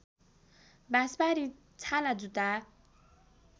बाँसबारी छालाजुत्ता